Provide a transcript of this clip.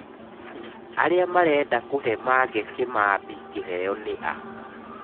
Arĩa marenda kũhe Mange Kimambi kĩheo nĩ a?